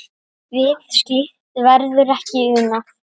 Við slíkt verður ekki unað.